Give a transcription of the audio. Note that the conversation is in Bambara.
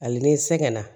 Hali ni sɛgɛn na